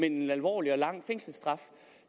en alvorlig og lang fængselsstraf